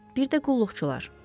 Bir də qulluqçular.